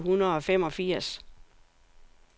toogfirs tusind otte hundrede og femogfirs